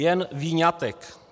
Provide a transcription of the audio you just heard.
Jen výňatek.